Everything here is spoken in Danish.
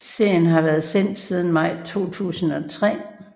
Serien har været sendt siden maj 2003